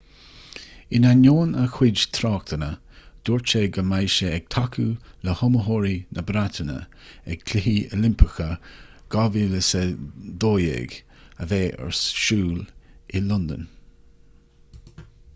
in ainneoin a chuid tráchtanna dúirt sé go mbeidh sé ag tacú le hiomaitheoirí na breataine ag cluichí oilimpeacha 2012 a bheidh ar siúl i londain